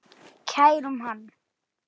Kærum hann.